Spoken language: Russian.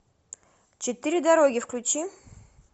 четыре дороги включи